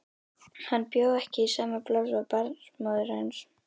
Hann bjó ekki í sama plássi og barnsmóðir hans.